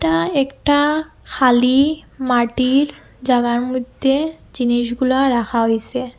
এটা একটা খালি মাটির জাগার মইদ্যে জিনিসগুলা রাখা হইসে।